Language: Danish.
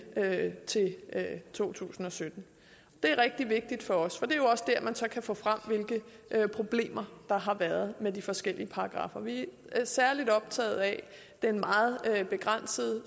til to tusind og sytten det er rigtig vigtigt for os for det er jo også dér man så kan få frem hvilke problemer der har været med de forskellige paragraffer vi er særlig optaget af den meget begrænsede